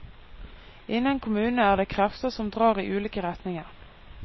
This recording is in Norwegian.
Innen kommunene er det krefter som drar i ulike retninger.